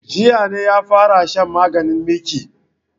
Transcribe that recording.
Jiya ne ya fara shan maganin miki